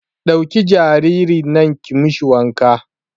Ɗauki jaririn nan ki mishi wanka